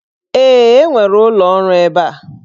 Ee, e nwere ụlọ ọrụ ebe a.